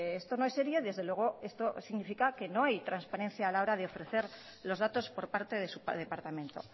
esto no es serio desde luego esto significa que no hay transparencia a la hora de ofrecer los datos por parte de su departamento